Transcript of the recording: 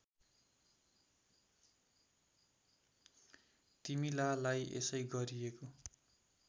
तिमीलालाई यसै गरिएको